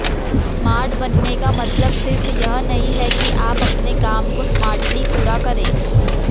smart बनने का मलतब सिर्फ यह नहीं कि आप अपने काम को स्मार्टली पूरा करें